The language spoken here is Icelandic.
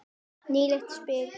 Nýtileg spil.